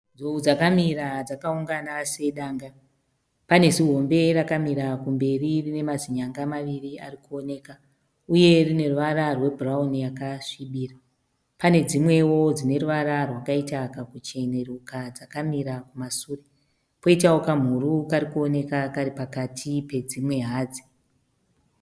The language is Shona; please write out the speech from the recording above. Nzou dzakamira dzakaungana sedanga . Pane zihombe rakamira kumberi rine mazinyanga maviri ari kuoneka uye rine ruvara rwebhurauni yakasvibira . Pane dzimwewo dzineruvara rwakaita kakuchenuruka dzakamira kumasure. Koitawo kamhuru kari kuonekwa kari pakati pedzimwe hadzi.